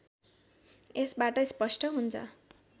यसबाट स्पष्ट हुन्छ